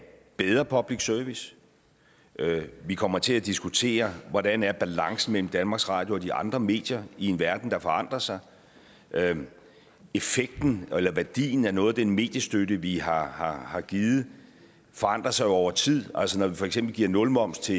bedre public service vi kommer til at diskutere hvordan balancen mellem danmarks radio og de andre medier i en verden der forandrer sig effekten eller værdien af noget af den mediestøtte vi har har givet forandrer sig jo over tid altså når vi for eksempel giver nulmoms til